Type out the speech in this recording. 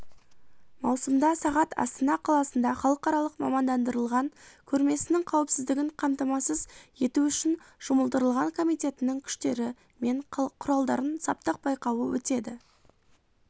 маусымда сағат астана қаласында халықаралық мамандандырылған көрмесінің қауіпсіздігін қамтамасыз ету үшін жұмылдырылған комитетінің күштері мен құралдарын саптық байқауы өтеді